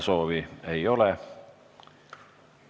Soovi ei ole.